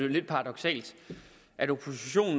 lidt paradoksalt